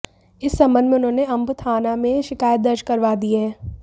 इस संबंध में उन्होंने अंब थाना में शिकायत दर्ज करवा दी है